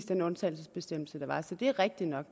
den undtagelsesbestemmelse der var så det er rigtigt nok